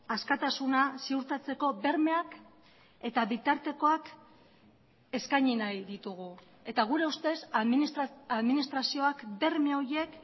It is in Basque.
askatasuna ziurtatzeko bermeak eta bitartekoak eskaini nahi ditugu eta gure ustez administrazioak berme horiek